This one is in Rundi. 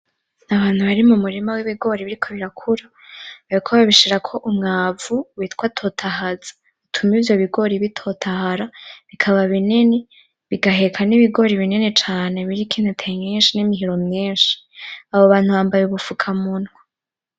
N'abantu bari mumurima w'ibigori biriko birakura bariko babishirako umwavu witwa "TOTAHAZA" utuma ivyobigori bitotahara bikaba binini bigaheka n'ibigori binini cane biriko n'intete nyishi n'imihiro myishi abo bantu bambaye ubufuka munwa .